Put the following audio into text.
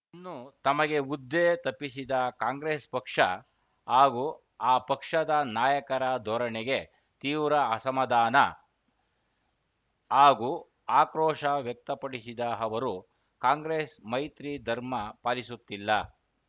ಇನ್ನು ತಮಗೆ ಹುದ್ದೆ ತಪ್ಪಿಸಿದ ಕಾಂಗ್ರೆಸ್‌ ಪಕ್ಷ ಹಾಗೂ ಆ ಪಕ್ಷದ ನಾಯಕರ ಧೋರಣೆಗೆ ತೀವ್ರ ಅಸಮಾಧಾನ ಹಾಗೂ ಆಕ್ರೋಶ ವ್ಯಕ್ತಪಡಿಸಿದ ಅವರು ಕಾಂಗ್ರೆಸ್‌ ಮೈತ್ರಿ ಧರ್ಮ ಪಾಲಿಸುತ್ತಿಲ್ಲ